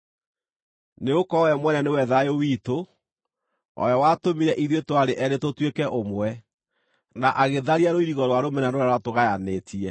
Nĩgũkorwo we mwene nĩwe thayũ witũ, o we watũmire ithuĩ twarĩ eerĩ tũtuĩke ũmwe, na agĩtharia rũirigo rwa rũmena rũrĩa rwatũgayanĩtie,